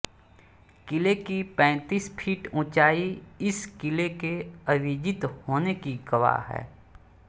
किले की पैंतीस फीट उंचाई इस किले के अविजित होने की गवाह है